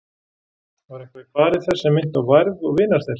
Var eitthvað í fari þess sem minnti á værð og vinarþel?